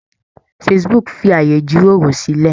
Facebook fi ààyè ìjíròrò sílẹ̀.